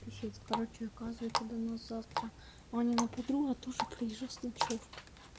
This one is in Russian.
писец короче оказывается до нас завтра анина подруга тоже приезжает с ночёвкой